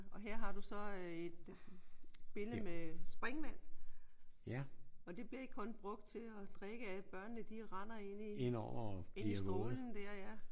Og her har du så et billede med springvand. Og det bliver ikke kun brugt til at drikke af. Børnene de render ind i ind i strålen der ja